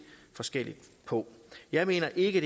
forskelligt på jeg mener ikke